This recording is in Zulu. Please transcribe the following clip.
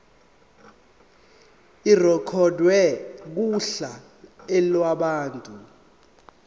irekhodwe kuhla lwabantu